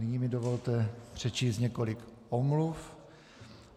Nyní mi dovolte přečíst několik omluv.